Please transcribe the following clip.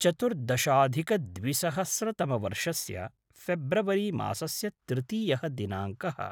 चतुर्दशाधिकद्विसहस्रतमवर्षस्य February मासस्य तृतीयः दिनाङ्कः